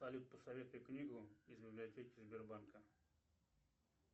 салют посоветуй книгу из библиотеки сбербанка